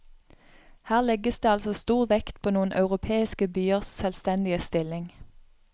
Her legges det altså stor vekt på noen europeiske byers selvstendige stilling.